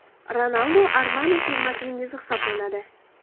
Ronaldu Armani firmasining yuzi hisoblanadi.